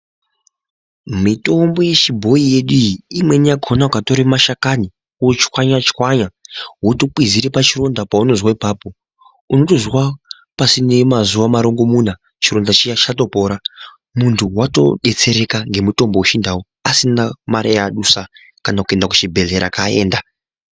Mitombo yechibhoyi yedu iyi imweni yakona ukatore mashakani wochwanya chwanya wotokwizire pachironda paunozwa ipapo unotizwa pasine mazuwa marongomuna chironda chiya chatopora muntu watodetsereka nemutombo wechindu asina mare yaadusa kana kuenda kuchibhedhlera kaaenda.